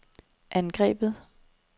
angrebet